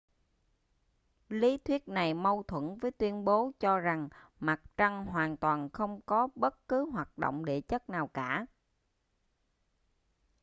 lý thuyết này mâu thuẫn với tuyên bố cho rằng mặt trăng hoàn toàn không có bất cứ hoạt động địa chất nào cả